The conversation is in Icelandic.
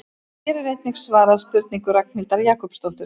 Hér er einnig svarað spurningu Ragnhildar Jakobsdóttur: